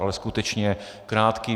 Ale skutečně krátký.